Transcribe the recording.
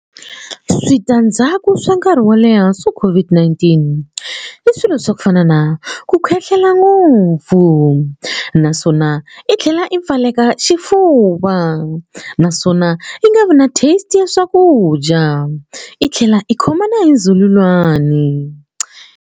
Switandzhaku swa nkarhi wo leha swa COVID-19 i swilo swa ku fana na ku khohlola ngopfu naswona i tlhela i pfaleka xifuva naswona i nga vi na taste ya swakudya i tlhela i khoma na hi ndzhululwani.